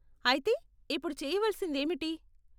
అయితే, ఇప్పుడు చేయవలసింది ఏమిటి?